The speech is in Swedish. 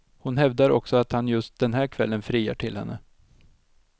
Hon hävdar också att han just den här kvällen friar till henne.